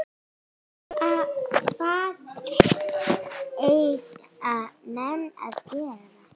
Hvað eiga menn að gera?